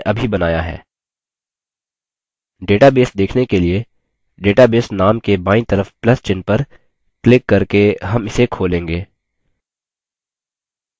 database देखने के लिए database name के बायीं तरफ plus चिह्न पर क्लिक करके हम इसे खोलेंगे